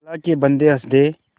अल्लाह के बन्दे हंस दे